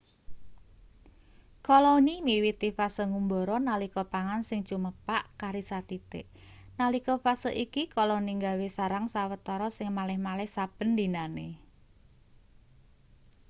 koloni miwiti fase ngumbara nalika pangan sing cumepak kari sathithik nalika fase iki koloni gawe sarang sawetara sing malih-malih saben dinane